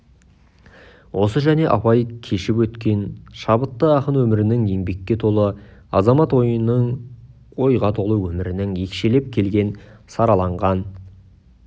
осы және абай кешіп өткен шабытты ақын өмірінің еңбекке толы азамат ойының ойға толы өмірінің екшеліп келген сараланған